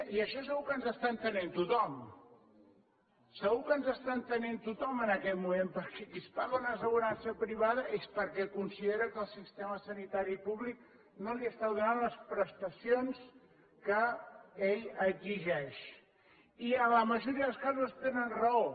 i això segur que ens està entenent tothom segur que ens està entenent tothom en aquest moment perquè qui es paga una assegurança privada és perquè considera que el sistema sanitari públic no li està donant les prestacions que ell exigeix i en la majoria dels casos tenen raó